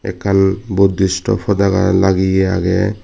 ekkan buddisto potaga lageye agey.